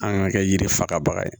An kan ka kɛ yiri fagabaga ye